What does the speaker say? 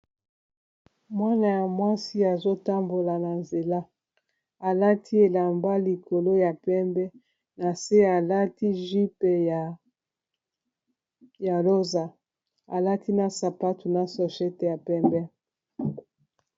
mwana ya mwasi azotambola na nzela alati elamba likolo ya pembe na se alati jype ya rosa alati na sapatu na sochete ya pembe